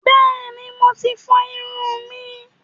Bẹ́ẹ̀ni, Mo ti fọ ìrun mi